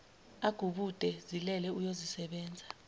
agubude zilele uzoyisebenza